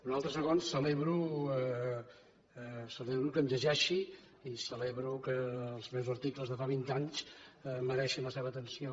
un altre segon celebro que em llegeixi i celebro que els meus articles de fa vint anys mereixin la seva atenció